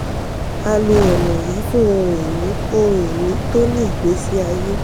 a lo ọ̀nà yìí fún ohun-ìní ohun-ìní tó ní ìgbésí ayé.